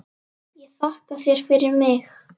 Og þakka þér fyrir mig.